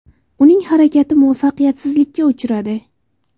Uning harakati muvaffaqiyatsizlikka uchradi.